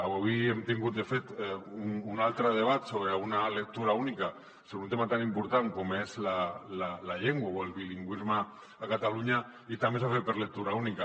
avui hem tingut de fet un altre debat sobre una lectura única sobre un tema tan important com és la llengua o el bilingüisme a catalunya i també s’ha fet per lectura única